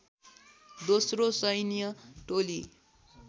दोस्रो सैन्य टोली